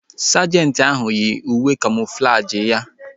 Sajenti ahu yii uwe kamoflajị ya